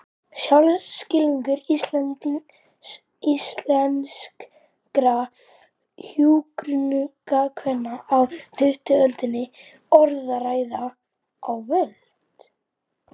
Sjálfsskilningur íslenskra hjúkrunarkvenna á tuttugustu öldinni: Orðræða og völd.